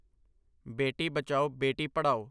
ਬੇਟੀ ਬਚਾਓ ਬੇਟੀ ਪੜਾਓ